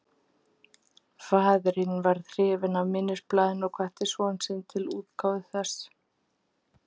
Faðirinn varð hrifinn af minnisblaðinu og hvatti son sinn til útgáfu þess.